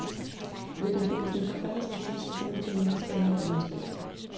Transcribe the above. Hvis en forfatters kritik skal bruges til noget, skal den være lidenskabelig.